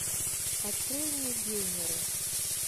открой мне геймеры